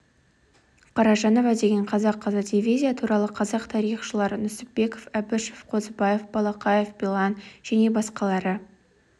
қаражанова деген қазақ қызы дивизия туралы қазақ тарихшылары нүсіпбеков әбішев қозыбаев балақаев белан және басқалары